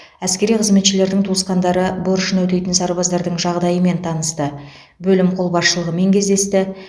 әскери қызметшілердің туысқандары борышын өтейтін сарбаздардың жағдайымен танысты бөлім қолбасшылығымен кездесті